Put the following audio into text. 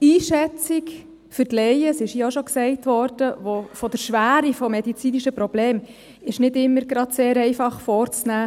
Die Einschätzung der Schwere eines medizinischen Problems ist für Laien, dies wurde auch schon erwähnt, nicht ganz einfach vorzunehmen.